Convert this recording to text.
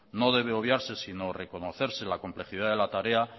no debe obviarse sino reconocer que la complejidad de la tarea